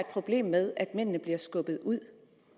problem med at mændene bliver skubbet ud